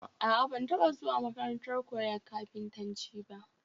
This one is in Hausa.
A'a, ban taba zuwa makarantar koyon kafintanci ba